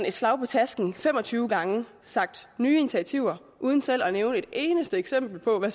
et slag på tasken fem og tyve gange sagt nye initiativer uden selv at nævne et eneste eksempel på hvad